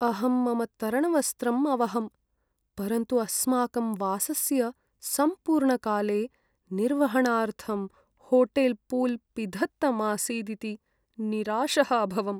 अहं मम तरणवस्त्रं अवहम्, परन्तु अस्माकं वासस्य सम्पूर्णकाले निर्वहणार्थं होटेल् पूल् पिधत्तम् आसीदिति निराशः अभवम्।